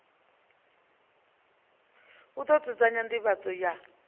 u ḓo dzudzanya nḓivhadzo ya